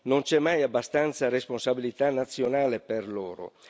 Non c'è mai abbastanza responsabilità nazionale per loro.